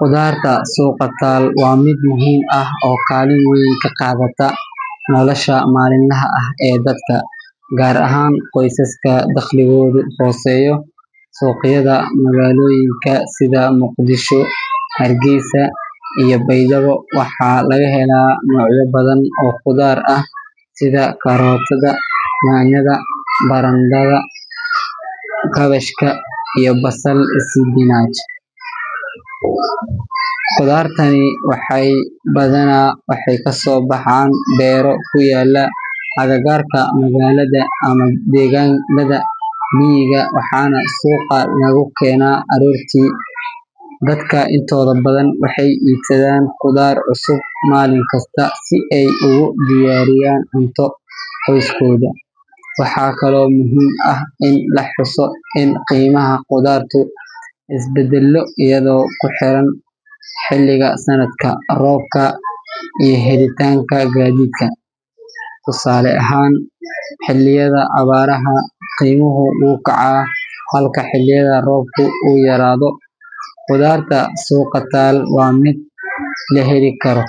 Qudaarta suuqa taal waa mid muhiim ah oo kaalin weyn ka qaadata nolosha maalinlaha ah ee dadka, gaar ahaan qoysaska dakhligoodu hooseeyo. Suuqyada magaalooyinka sida Muqdisho, Hargeysa, iyo Baydhabo waxaa laga helaa noocyo badan oo khudaar ah sida karootada, yaanyada, barandhada, kaabashka, basal iyo isbinaaj. Qudaartani badanaa waxay kasoo baxaan beero ku yaalla agagaarka magaalada ama deegaanada miyiga, waxaana suuqa lagu keenaa aroortii hore. Dadka intooda badan waxay iibsadaan khudaar cusub maalin kasta si ay ugu diyaariyaan cunto qoyskooda. Waxaa kaloo muhiim ah in la xuso in qiimaha khudaartu isbedbeddelo iyadoo ku xiran xilliga sanadka, roobka, iyo helitaanka gaadiidka. Tusaale ahaan, xilliyada abaaraha qiimuhu wuu kacaa halka xilliyada roobka uu yaraado. Qudaarta suuqa taal waa mid la heli karo,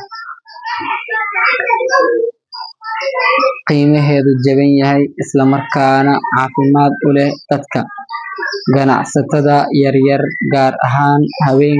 qiimaheedu jaban yahay, isla markaana caafimaad u leh dadka. Ganacsatada yaryar, gaar ahaan haweenka.